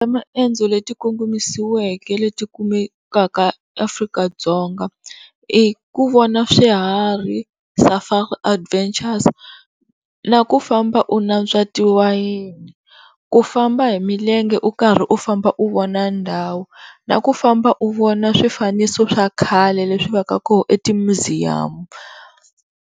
Tinxaka ta maendzo leti ti kongomisiweke leti kumekaka Afrika-Dzonga i ku vona swihari Safari Adventures, na ku famba u natswa ti wayeni ku famba hi milenge u karhi u famba u vona ndhawu na ku famba u vona swifaniso swa khale leswi va ka kona eti museum.